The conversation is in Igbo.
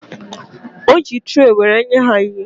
O ji traị were enye ha ihe